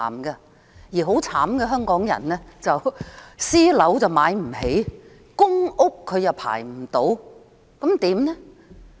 至於淒慘的香港人，既買不起私樓，又輪候不到公屋。